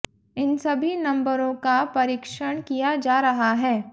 इन सभी नंबरों का परीक्षण किया जा रहा है